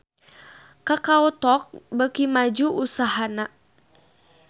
Kakao Talk beuki maju usahana